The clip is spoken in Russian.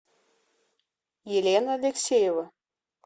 елена алексеева